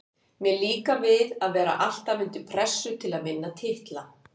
Mér líkar við að vera alltaf undir pressu til að vinna titla.